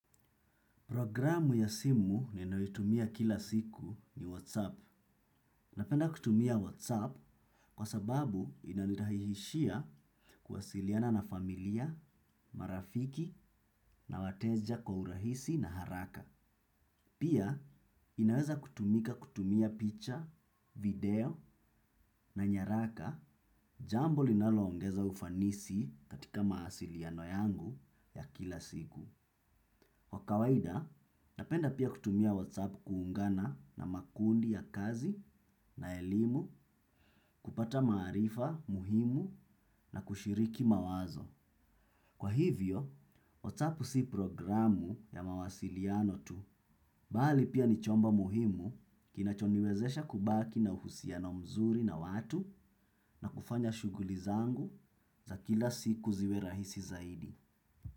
Programu ya simu ninayoitumia kila siku ni WhatsApp. Napenda kutumia WhatsApp kwa sababu inanirahihishia kuwasiliana na familia, marafiki na wateja kwa urahisi na haraka. Pia, inaweza kutumika kutumia picha, video na nyaraka jambo linaloongeza ufanisi katika mawasiliano yangu ya kila siku. Kwa kawaida, napenda pia kutumia WhatsApp kuungana na makundi ya kazi na elimu kupata maarifa muhimu na kushiriki mawazo. Kwa hivyo, WhatsApp si programu ya mawasiliano tu, bali pia ni chombo muhimu kinachoniwezesha kubaki na uhusiano mzuri na watu na kufanya shuguli zangu za kila siku ziwe rahisi zaidi.